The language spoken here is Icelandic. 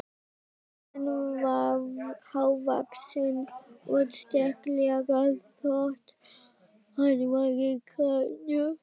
Hann var hávaxinn og sterklegur þótt hann væri grannur.